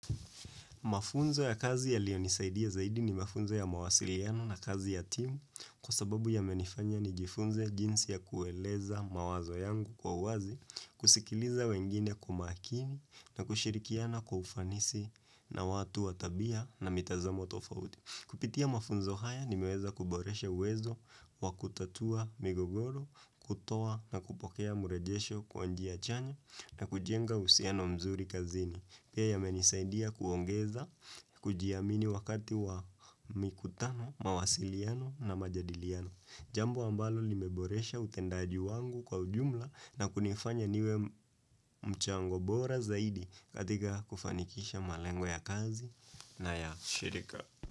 Mafunzo ya kazi yalionisaidia zaidi ni mafunzo ya mawasiliano na kazi ya timu kwa sababu yamenifanya nijifunze jinsi ya kueleza mawazo yangu kwa uwazi, kusikiliza wengine kwa umakini na kushirikiana kwa ufanisi na watu wa tabia na mitazamo tofauti. Kupitia mafunzo haya nimeweza kuboresha uwezo wa kutatua migogoro, kutoa na kupokea murejesho kwa njia chanya, na kujenga uhusiano mzuri kazini. Pia yamenisaidia kuongeza, kujiamini wakati wa mikutano, mawasiliano na majadiliano. Jambo ambalo limeboresha utendaji wangu kwa ujumla na kunifanya niwe mchango bora zaidi katika kufanikisha malengwa ya kazi na ya shirika.